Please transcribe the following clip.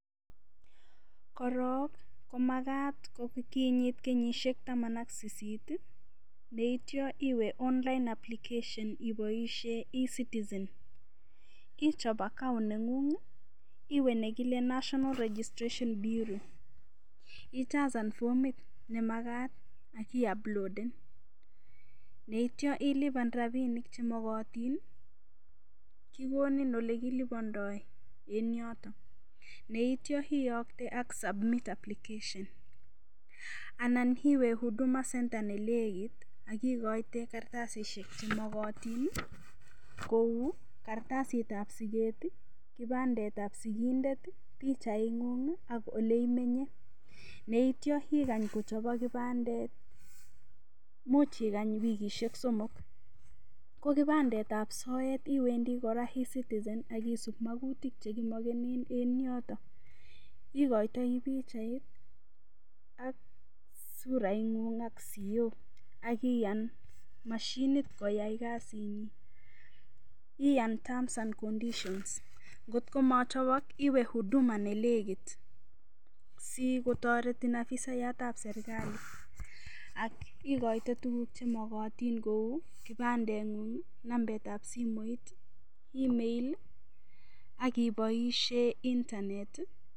Korong komakat kokiriit kenyishek Taman ak sit neityoniwe online application ibaishen e citizen ichop account nengung iwe nekile national registration biro ichasan formit nemakat akiuploden neityoniliban rabinik chemakatin kekoni yelekilubandae en yoton neity iyakte submit application anan iwe huduma center nemiten nekit akikaiete kartasishek chemakatin Kou kartasit ab siket ,kibandet ab sikindet ,bichait ngung ak oleimenye neityo igany kochobok kibandet imuch ikany wikishek somok kokibandet ab sort kebendi kora e citizen akisub makutik chemakatin en yoton ikoitoi bichait ak surait ngung ak siet akikany mashinit koyai kasinyin iyai term and conditions kot komachobok iwe huduma nenekit sikotareti afisayat ab serikalit aknikaite tuguk chemakatin Kou kibandengung ,nambet ab simoit, email, akobaishen internet